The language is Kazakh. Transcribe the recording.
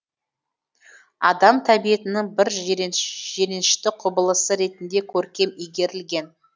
адам тәбетінің бір жиренішті құбылысы ретінде көркем игерілген